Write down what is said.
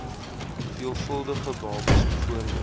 veelvuldige babas bv